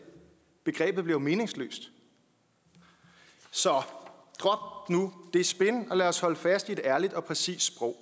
begrebet bliver jo meningsløst så drop nu det spin og lad os holde fast i et ærligt og præcist sprog